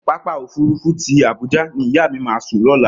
Pápákọ̀ òfuurufú tí Àbújá ni ìyá mi máa sùn lọ́la.